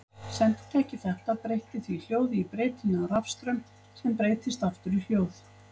Senditæki þetta breytti því hljóði í breytilegan rafstraum sem breyttist aftur í hljóð.